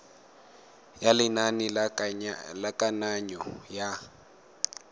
ya lenane la kananyo ya